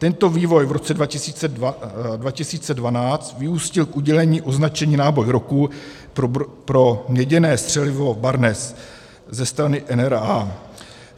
Tento vývoj v roce 2012 vyústil k udělení označení náboj roku pro měděné střelivo Barnes ze strany NRA.